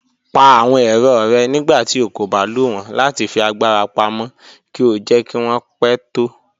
Pà àwọn èrọ́ rẹ̀ nígbàtí ó kò bá lọ wọn láti fi agbara pámọ̀ kí ó jẹ̀ kí wọn pẹ̀ tó.